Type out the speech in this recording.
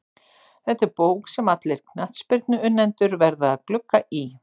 Þetta er bók sem allir knattspyrnuunnendur verða að glugga í.